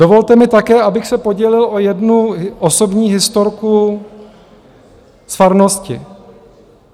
Dovolte mi také, abych se podělil o jednu osobní historku z farnosti.